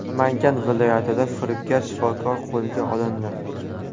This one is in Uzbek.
Namangan viloyatida firibgar shifokorlar qo‘lga olindi.